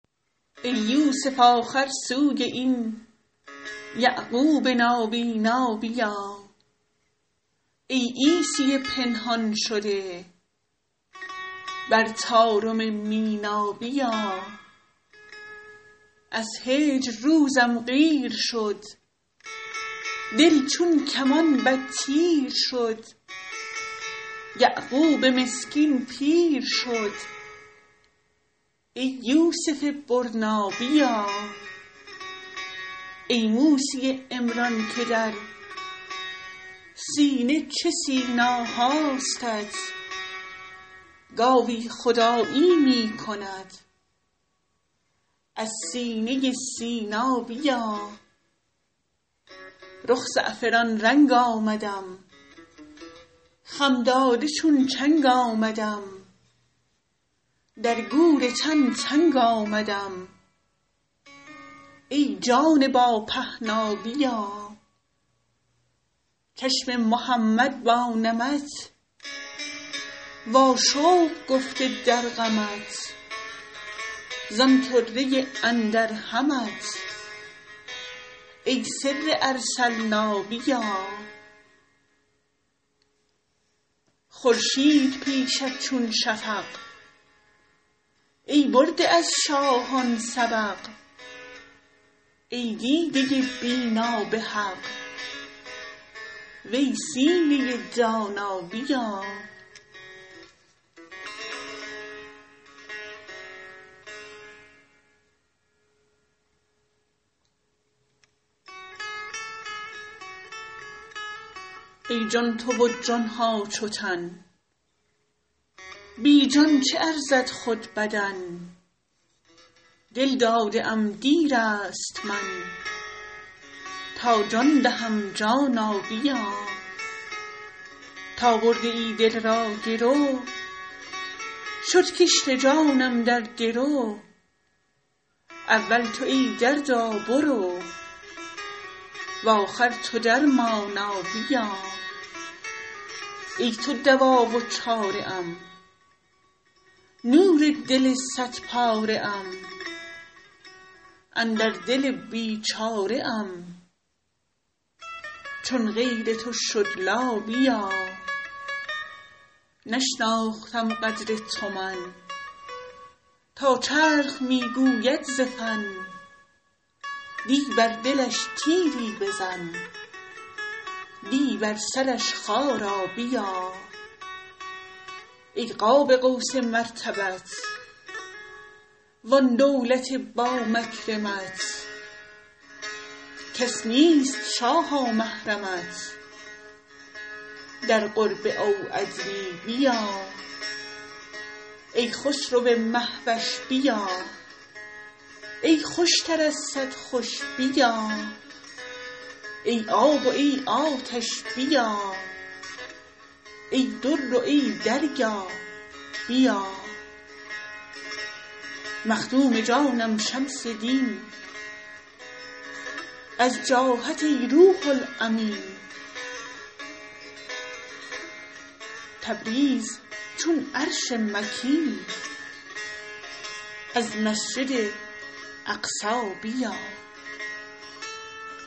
ای یوسف آخر سوی این یعقوب نابینا بیا ای عیسی پنهان شده بر طارم مینا بیا از هجر روزم قیر شد دل چون کمان بد تیر شد یعقوب مسکین پیر شد ای یوسف برنا بیا ای موسی عمران که در سینه چه سینا هاستت گاوی خدایی می کند از سینه سینا بیا رخ زعفران رنگ آمدم خم داده چون چنگ آمدم در گور تن تنگ آمدم ای جان با پهنا بیا چشم محمد با نمت واشوق گفته در غمت زان طره اندر همت ای سر ارسلنا بیا خورشید پیشت چون شفق ای برده از شاهان سبق ای دیده بینا به حق وی سینه دانا بیا ای جان تو و جان ها چو تن بی جان چه ارزد خود بدن دل داده ام دیر است من تا جان دهم جانا بیا تا برده ای دل را گرو شد کشت جانم در درو اول تو ای دردا برو و آخر تو درمانا بیا ای تو دوا و چاره ام نور دل صدپاره ام اندر دل بیچاره ام چون غیر تو شد لا بیا نشناختم قدر تو من تا چرخ می گوید ز فن دی بر دلش تیری بزن دی بر سرش خارا بیا ای قاب قوس مرتبت وان دولت با مکرمت کس نیست شاها محرمت در قرب او ادنی بیا ای خسرو مه وش بیا ای خوشتر از صد خوش بیا ای آب و ای آتش بیا ای در و ای دریا بیا مخدوم جانم شمس دین از جاهت ای روح الامین تبریز چون عرش مکین از مسجد اقصی بیا